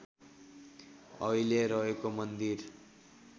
अहिले रहेको मन्दिर